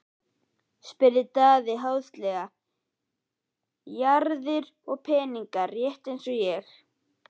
spurði Daði háðslega: Jarðir og peninga, rétt eins og ég.